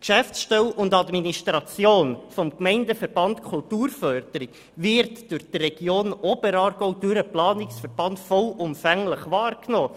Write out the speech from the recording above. Die Geschäftsstelle und die Administration des Gemeindeverbands Kulturförderung wird in der Region Oberaargau vollumfänglich durch den Planungsverband wahrgenommen.